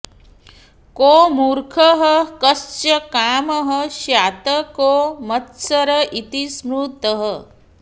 को मूर्खः कश्च कामः स्यात् को मत्सर इति स्मृतः